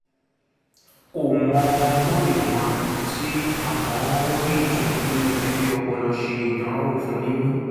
kò mọ ohun tó lè máa retí àmọ́ ó rí ìtùnú nínú fífi ọpọlọ ṣe ìdánrawò fún mímí